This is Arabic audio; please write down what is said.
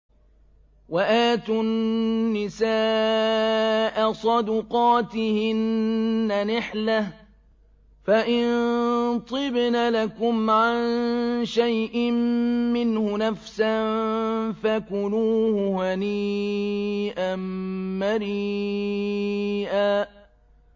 وَآتُوا النِّسَاءَ صَدُقَاتِهِنَّ نِحْلَةً ۚ فَإِن طِبْنَ لَكُمْ عَن شَيْءٍ مِّنْهُ نَفْسًا فَكُلُوهُ هَنِيئًا مَّرِيئًا